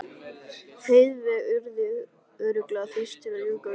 Heiðveig yrði örugglega fyrst til að ljúka við það.